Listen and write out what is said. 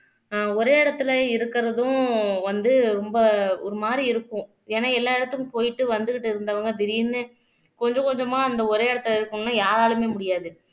அஹ் ஒரே இடத்துல இருக்கிறதும் வந்து ரொம்ப ஒரு மாதிரி இருக்கும் ஏன்னா எல்லா இடத்துக்கும் போயிட்டு வந்துகிட்டு இருந்தவங்க திடீர்ன்னு கொஞ்சம் கொஞ்சமா அந்த ஒரே இடத்தில இருக்கணும்ன்னா யாராலயுமே முடியாது